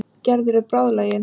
Gerður er bráðlagin.